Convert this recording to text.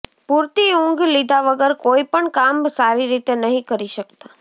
પૂરતી ઉંઘ લીધા વગર કોઈ પણ કામ સારી રીતે નહી કરી શકતા